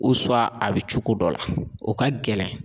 a bɛ cogo dɔ la o ka gɛlɛn.